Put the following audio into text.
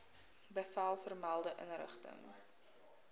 bevel vermelde inrigting